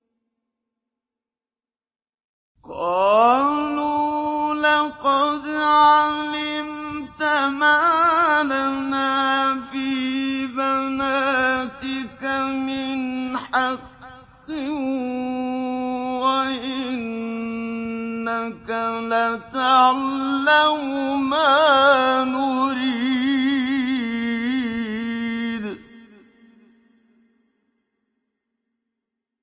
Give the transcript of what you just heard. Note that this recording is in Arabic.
قَالُوا لَقَدْ عَلِمْتَ مَا لَنَا فِي بَنَاتِكَ مِنْ حَقٍّ وَإِنَّكَ لَتَعْلَمُ مَا نُرِيدُ